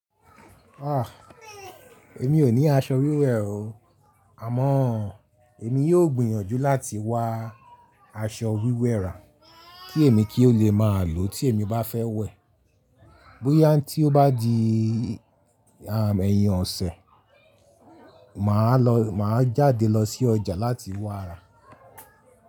Ah! Èmi ò ní aṣọ wíwẹ̀ o. Àmọ́ èmi yóò gbìyànjú láti wá aṣọ wíwẹ̀ ra kí èmi kí ó lè máa lò ó tí èmi bá fẹ́ wẹ̀. Bóyá tí ó bá di ẹ̀yìn ọ̀sẹ̀, mà á lọ, mà á jáde lọ sí ọjà láti wáa rà.